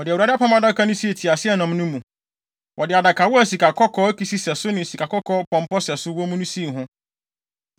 Wɔde Awurade Apam Adaka no sii teaseɛnam no mu. Wɔde adakawa a sikakɔkɔɔ akisi sɛso ne sikakɔkɔɔ pɔmpɔ sɛso wɔ mu no sii ho.